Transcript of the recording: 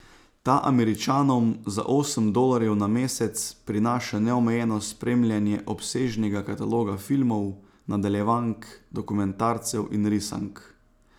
Ta Američanom za osem dolarjev na mesec prinaša neomejeno spremljanje obsežnega kataloga filmov, nadaljevank, dokumentarcev in risank.